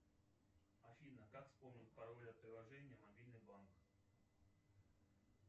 афина как вспомнить пароль от приложения мобильный банк